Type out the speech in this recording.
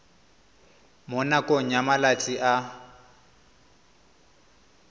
mo nakong ya malatsi a